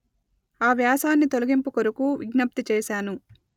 ఆ వ్యాసాన్ని తొలగింపు కొరకు విజ్ఞప్తి చేసాను